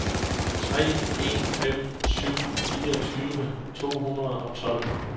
tre en fem syv fireogtyve to hundrede og tolv